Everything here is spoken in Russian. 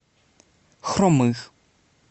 хромых